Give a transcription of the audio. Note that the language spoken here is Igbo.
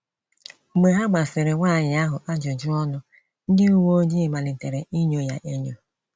Mgbe ha gbasịrị nwanyị ahụ ajụjụ ọnụ, ndị uwe ojii malitere inyo ya enyo.